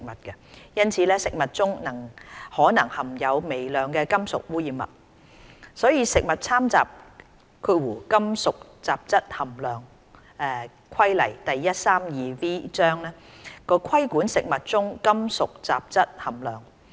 因此，食物中可能含有微量的金屬污染物，所以《食物攙雜規例》規管食物中金屬雜質含量。